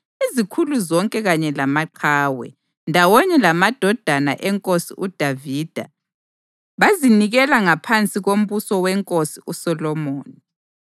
Izikhulu zonke kanye lamaqhawe, ndawonye lamadodana eNkosi uDavida bazinikela ngaphansi kombuso weNkosi uSolomoni.